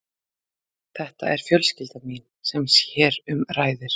Þetta er fjölskyldan mín sem hér um ræðir.